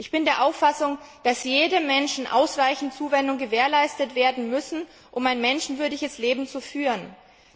Ich bin der Auffassung, dass jedem Menschen ausreichend Zuwendung gewährleistet werden muss, um ein menschenwürdiges Leben führen zu können.